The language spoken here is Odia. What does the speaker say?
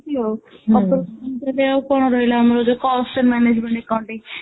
ଏମିତି ଆଉ ଆଉ ତୋ ଦେହ କ'ଣ ରହିଲା ଆମର ଯୋଉ ସେ management accounting